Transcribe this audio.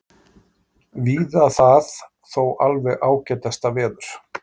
Víða það þó alveg ágætasta veður